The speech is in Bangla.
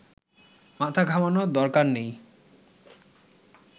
মাথা ঘামানোর দরকার নেই